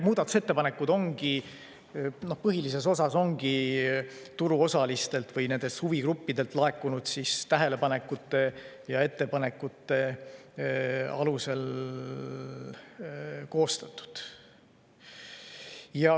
Muudatusettepanekud põhilises osas ongi turuosalistelt või nendelt huvigruppidelt laekunud tähelepanekute ja ettepanekute alusel koostatud.